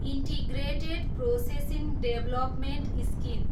integrated processing development scheme